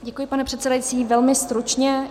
Děkuji, pane předsedající, velmi stručně.